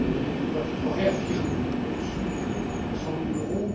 Elle doit être réaffirmée en dessous de 100000euros.